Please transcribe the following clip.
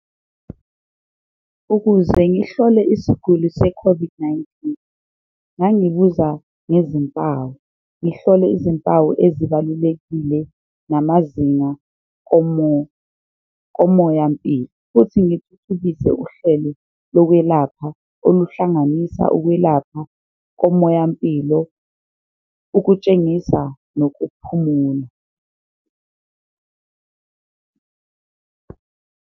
Ukuze ngihlole isiguli se-COVID-19 ngangibuza ngezimpawu, ngihlole izimpawu ezibalulekile namazinga komoyampilo futhi ngithuthukise uhlelo lokwelapha oluhlanganisa ukwelapha komoyampilo, ukutshengisa nokuphumula.